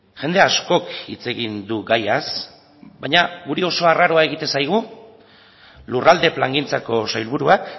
jende askok hitz egin du gaiaz baina guri oso arraroa egiten zaigu lurralde plangintzako sailburuak